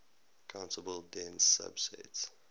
countable dense subset